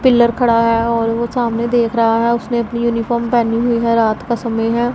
Pillar खड़ा है और वो सामने देख रहा है उसने अपनी यूनिफॉर्म पहनी हुई है रात का समय है।